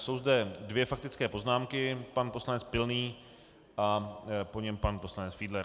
Jsou zde dvě faktické poznámky, pan poslanec Pilný a po něm pan poslanec Fiedler.